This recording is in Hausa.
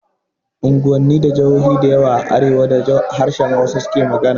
Unguwanni da jahohi dayawa a arewa da harshen Hausa su ke magana